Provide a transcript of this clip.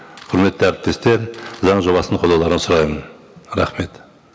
құрметті әріптестер заң жобасын қолдауларын сұраймын рахмет